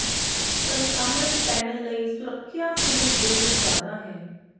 ਪਰ ਸਾਹਮਣੇ ਪੈਨਲ ਲਈ ਸੁਰੱਖਿਆ ਫਿਲਮ ਜ਼ਰੂਰ ਜ਼ਿਆਦਾ ਹੈ